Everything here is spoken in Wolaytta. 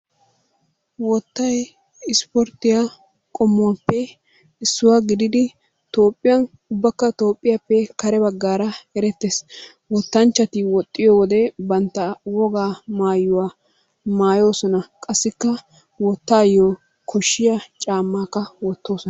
Wottay ispporttiya qommuwappe issuwa gididdi Toophiyan ubakka Tnoophiyappe kare bagaara erettees, wotanchchati woxxiyo wode banta wogaa maayuwa maayoosona qasikka wotaayo koshiya camakka wotoosona.